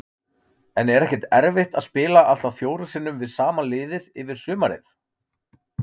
En er ekkert erfitt að spila allt að fjórum sinnum við sama liðið yfir sumarið?